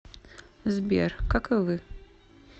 сбер как и вы